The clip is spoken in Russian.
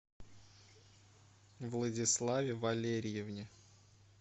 владиславе валериевне